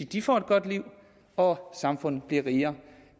de får et godt liv og samfundet bliver rigere